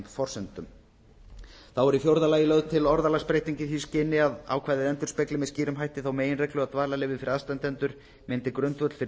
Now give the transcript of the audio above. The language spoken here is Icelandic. forsendum þá er í fjórða lagi lögð til orðalagsbreyting í því skyni að ákvæðið endurspegli með skýrum hætti þá meginreglu að dvalarleyfi fyrir aðstandendur myndi grundvöll fyrir